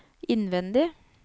innvendig